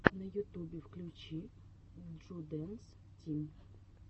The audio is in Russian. на ютубе включи джудэнс тим